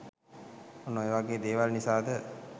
ඔන්න ඔය වගේ දේවල් නිසාද